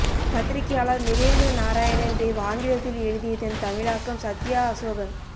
பத்திரிக்கையாளர் நிரேந்த்ர நாராயண் தேவ் ஆங்கிலத்தில் எழுதியதன் தமிழாக்கம் சத்யா அசோகன்